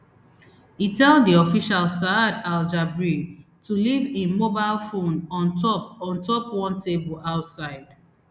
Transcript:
e tell di official saad aljabri to leave im mobile phone on top on top one table outside